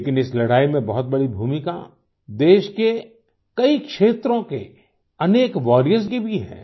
लेकिन इस लड़ाई में बहुत बड़ी भूमिका देश के कई क्षेत्रों के अनेक वॉरियर्स की भी है